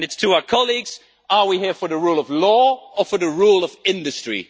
My question to our colleagues is are we here for the rule of law or for the rule of industry?